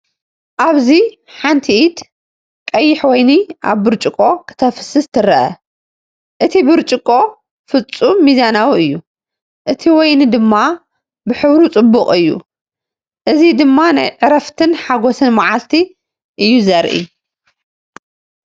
ኣብዚ ሓንቲ ኢድ ቀይሕ ወይኒ ኣብ ብርጭቆ ከተፍስስ ትርአ። እቲ ብርጭቆ ፍጹም ሚዛናዊ እዩ፣ እቲ ወይኒ ድማ ብሕብሩ ጽቡቕ እዩ። እዚ ድማ ናይ ዕረፍትን ሓጎስን መዓልቲ እዩ ዘርኢ እዩ።